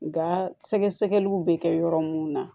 Nga sɛgɛsɛgɛliw be kɛ yɔrɔ munnu na